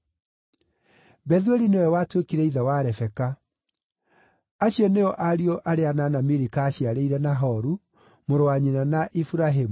Bethueli nĩwe watuĩkire ithe wa Rebeka. Acio nĩo ariũ arĩa anana Milika aaciarĩire Nahoru, mũrũ wa nyina na Iburahĩmu.